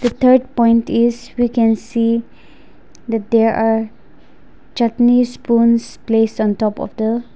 third point is we can see that there are chutney spoons placed on top of the--